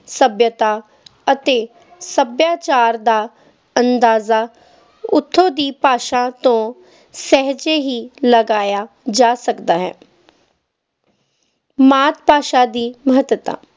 ਸੱਭਿਅਤਾ ਅਤੇ ਸੱਭਿਆਚਾਰ ਦਾ ਅੰਦਾਜ਼ਾ ਉੱਥੋਂ ਦੀ ਭਾਸ਼ਾ ਤੋਂ ਸਹਿਜੇ ਹੀ ਲਗਾਇਆ ਜਾ ਸਕਦਾ ਹੈ ਮਾਤ-ਭਾਸ਼ਾ ਦੀ ਮਹੱਤਤਾ